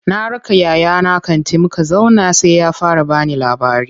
Na raka yayana kanti, muka zauna sai ya fara bani labari.